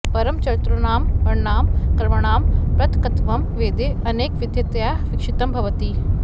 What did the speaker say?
परं चतुर्णां वर्णानां कर्मणां पृथक्त्वं वेदे अनेकविधतया वीक्षितं भवति